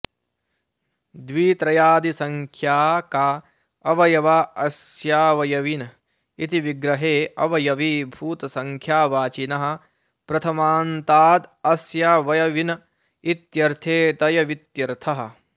द्वित्र्यादिसङ्ख्याका अवयवा अस्यावयविन इति विग्रहे अवयवीभूतसङ्ख्यावाचिनः प्रथमान्तादस्यावयविन इत्यर्थे तयवित्यर्थः